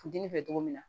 Funteni fɛ cogo min na